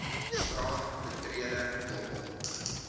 straat betreding dobbel